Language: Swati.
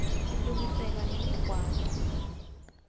silungiselwaa nemiqwaco